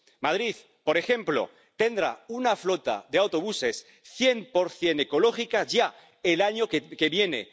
Madrid, por ejemplo, tendrá una flota de autobuses cien por cien ecológica ya el año que viene.